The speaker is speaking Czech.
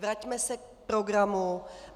Vraťme se k programu.